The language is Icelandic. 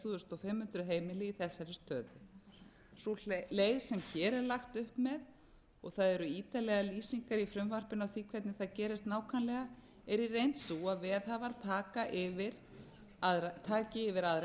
fimmtán hundruð heimili í þessari stöðu sú leið sem hér er lagt upp með og það eru ítarlegar lýsingar í frumvarpinu á því hvernig það gerist nákvæmlega er í reynd sú að veðhafar taki yfir aðra eignina